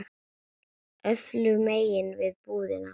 Öfugu megin við búðina.